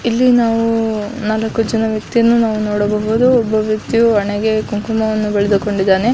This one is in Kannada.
ಇಲ್ಲಿ ನಾವು ನಾಲಕು ಜನ ವ್ಯಕ್ತಿಯನ್ನು ನಾವು ನೋಡಬಹುದು. ಒಬ್ಬ ವ್ಯಕ್ತಿಯು ಹಣೆಗೆ ಕುಂಕುಮವನ್ನು ಬೆಳೆದುಕೊಂಡಿದ್ದಾನೆ.